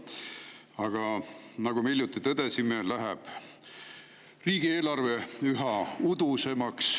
Aga nagu me hiljuti tõdesime, läheb riigieelarve üha udusemaks.